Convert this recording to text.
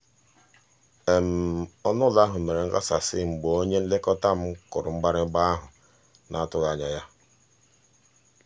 ọnụụlọ ahụ mere nghasasị mgbe onye nlekọta m kụrụ mgbịrịgba ahụ n'atụghị anya ya.